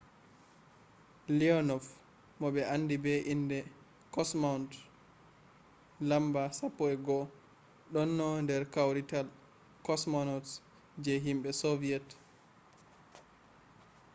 leonov mo ɓe andi be inde kosmaunt no.11” ɗonno nder kawrital kosmonauts je himɓe soviyet